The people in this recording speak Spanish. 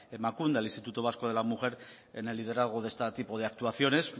emakunde al instituto vasco de la mujer en el liderazgo de este tipo de actuaciones